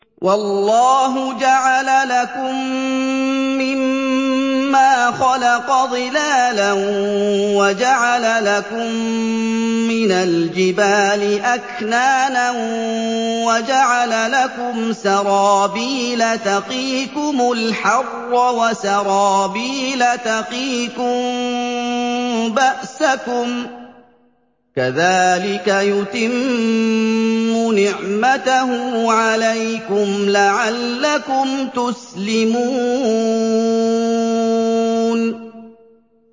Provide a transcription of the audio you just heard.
وَاللَّهُ جَعَلَ لَكُم مِّمَّا خَلَقَ ظِلَالًا وَجَعَلَ لَكُم مِّنَ الْجِبَالِ أَكْنَانًا وَجَعَلَ لَكُمْ سَرَابِيلَ تَقِيكُمُ الْحَرَّ وَسَرَابِيلَ تَقِيكُم بَأْسَكُمْ ۚ كَذَٰلِكَ يُتِمُّ نِعْمَتَهُ عَلَيْكُمْ لَعَلَّكُمْ تُسْلِمُونَ